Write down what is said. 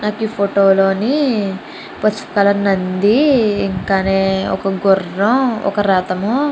ఈ ఫోటో లోని పసుపు కలర్ నంది ఇంకానీ ఒక గుర్రం ఒక రధము--